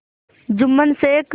Jumman Sheikh